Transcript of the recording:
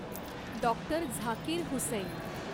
doctor Zakir Hussain